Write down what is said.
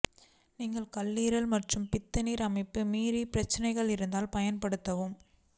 நீங்கள் கல்லீரல் மற்றும் பித்தநீர் அமைப்பு மீறி பிரச்சினைகள் இருந்தால் பயன்படுத்தவும்